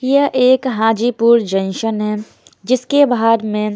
यह एक हाजीपुर जंक्शन है जिसके बाहर में--